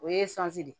O ye de ye